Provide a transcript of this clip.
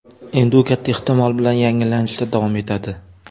Endi u katta ehtimol bilan yangilanishda davom etadi.